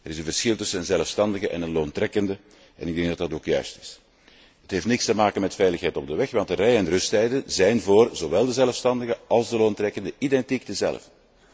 Er is een verschil tussen een zelfstandige en een loontrekkende en dat is ook juist. Het heeft niets te maken met veiligheid op de weg, want de rij en rusttijden zijn voor zowel de zelfstandigen als de loontrekkenden identiek dezelfde.